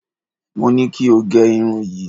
Mo ní kí o gẹ irun yìí.